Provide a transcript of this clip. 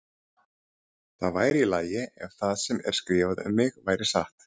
Það væri í lagi ef það sem er skrifað um mig væri satt.